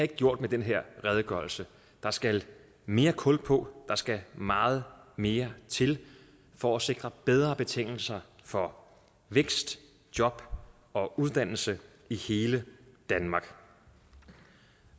gjort med den her redegørelse der skal mere kul på der skal meget mere til for at sikre bedre betingelser for vækst job og uddannelse i hele danmark